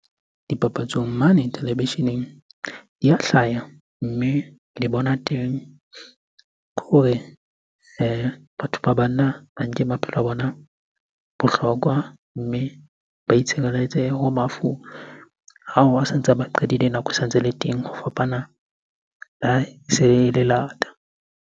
Dipapatsong mane televisheneng di ya hlaya. Mme le bona teng, ke hore batho ba banna ba nke maphelo a bona bohlokwa. Mme ba itshireletse ho mafu ao a sa ntsa ba qadile nako e sa ntse ele teng. Ho fapana le ha e se le lata.